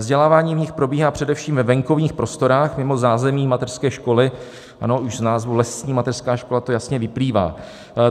Vzdělávání v nich probíhá především ve venkovních prostorách mimo zázemí mateřské školy, ano, už z názvu lesní mateřská škola to jasně vyplývá.